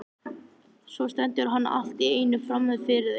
Svo stendur hann allt í einu frammi fyrir þeim.